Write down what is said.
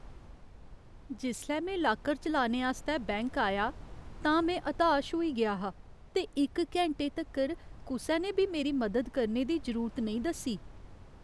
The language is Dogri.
जिसलै में लाकर चलाने आस्तै बैंक आया तां में हताश होई गेआ हा ते इक घैंटे तक्कर कुसै ने बी मेरी मदद करने दी जरूरत नेईं दस्सी।